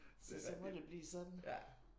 Så så må det blive sådan